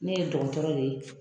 Ne ye dɔgɔtɔrɔ de ye